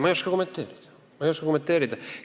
Ma ei oska kommenteerida.